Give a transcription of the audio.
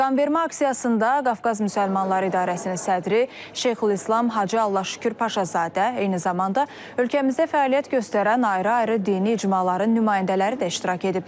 Qanvermə aksiyasında Qafqaz Müsəlmanları İdarəsinin sədri Şeyxülislam Hacı Allahşükür Paşazadə, eyni zamanda ölkəmizdə fəaliyyət göstərən ayrı-ayrı dini icmaların nümayəndələri də iştirak ediblər.